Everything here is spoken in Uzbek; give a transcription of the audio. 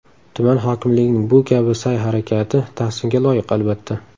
Tuman hokimligining bu kabi sa’y-harakati tahsinga loyiq, albatta.